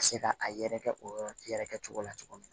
Ka se ka a yɛrɛkɛ o yɔrɔ yɛrɛ kɛcogo la cogo min na